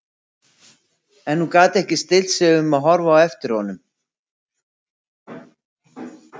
En hún gat ekki stillt sig um að horfa á eftir honum.